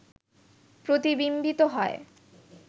প্রতিবিম্বিত হয়